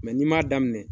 n'i m'a daminɛ